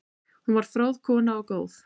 Hún var fróð kona og góð.